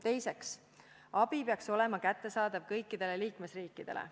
Teiseks, abi peaks olema kättesaadav kõikidele liikmesriikidele.